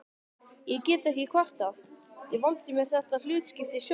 Ég get ekki kvartað, ég valdi mér þetta hlutskipti sjálfur